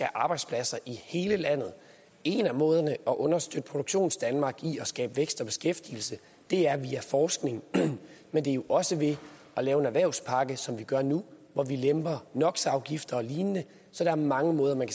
arbejdspladser i hele landet en af måderne at understøtte produktionsdanmark i at skabe vækst og beskæftigelse er via forskning men det er jo også ved at lave en erhvervspakke som vi gør nu hvor vi lemper no så der er mange måder man